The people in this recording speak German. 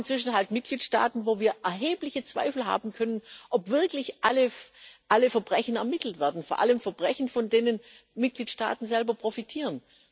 Und wir haben inzwischen halt Mitgliedstaaten, bei denen wir erhebliche Zweifel haben können, ob wirklich alle Verbrechen ermittelt werden, vor allem Verbrechen, von denen Mitgliedstaaten selber profitieren.